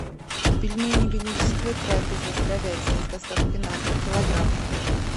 пельмени величество трапеза с говядиной с доставкой на дом килограмм